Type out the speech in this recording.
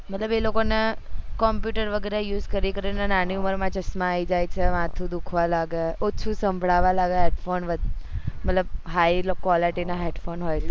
મતલબ એ લોકો ને computer વેગેરા use કરી કરીને નાની ઉમર માં ચશ્માં આવી જાય છે હાથો દુખાવા લાગે ઓછું સાંભળવા લાગે મતલબ high quality ના